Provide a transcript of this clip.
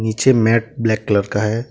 नीचे matte black colour का है।